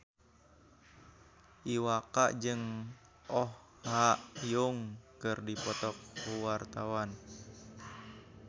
Iwa K jeung Oh Ha Young keur dipoto ku wartawan